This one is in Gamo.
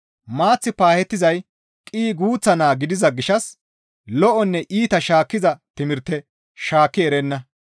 Maath paahettizay qii guuththa naa gidiza gishshas lo7onne iita shaakkiza timirte shaakki erenna.